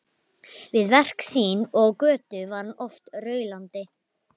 Við verk sín og á götu var hann oft raulandi.